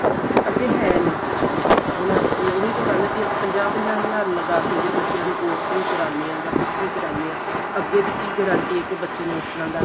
ਅੱਗੇ ਹੈ ਨੀਂ ਕੁੱਝ ਵੀ ਹੁਣ ਉਹੀ ਤਾਂ ਗੱਲ ਏ ਵੀ ਪੰਜਾਹ ਪੰਜਾਹ ਹਜ਼ਾਰ ਲਗਾ ਕੇ ਜੇ ਬੱਚਿਆਂ ਨੂ course ਵੀ ਕਰਾਨੇ ਆ ਜਾਂ ਕੁੱਝ ਵੀ ਕਰਨੇ ਆ ਅੱਗੇ ਦੀ ਕੀ guaranty ਏ ਕੀ ਬੱਚੇ ਨੂੰ ਉਸ ਤਰ੍ਹਾਂ ਦਾ